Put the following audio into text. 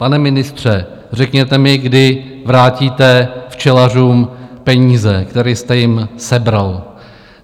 Pane ministře, řekněte mi, kdy vrátíte včelařům peníze, které jste jim sebral.